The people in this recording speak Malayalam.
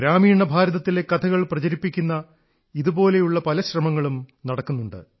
ഗ്രാമീണ ഭാരത്തിലെ കഥകൾ പ്രചരിപ്പിക്കുന്ന ഇതുപോലുള്ള പല ശ്രമങ്ങളും നടക്കുന്നുണ്ട്